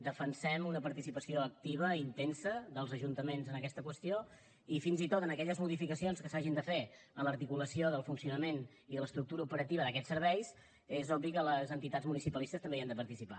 defensem una participació activa i intensa dels ajuntaments en aquesta qüestió i fins i tot en aquelles modificacions que s’hagin de fer en l’articulació del funcionament i de l’estructura operativa d’aquests serveis és obvi que les entitats municipalistes també hi han de participar